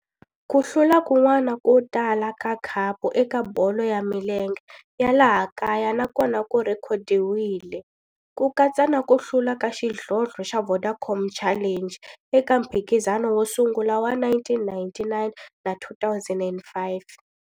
Ku hlula kun'wana ko tala ka khapu eka bolo ya milenge ya laha kaya na kona ku rhekhodiwile, ku katsa na ku hlula ka xidlodlo xa Vodacom Challenge eka mphikizano wo sungula wa 1999 na 2005.